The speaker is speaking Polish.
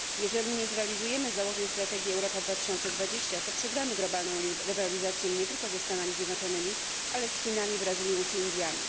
Jeżeli nie zrealizujemy założeń strategii Europa 2020, to przegramy globalną rywalizację nie tylko ze Stanami Zjednoczonymi, ale z Chinami, Brazylią czy Indiami.